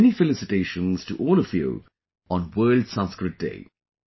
Many felicitations to all of you on World Sanskrit Day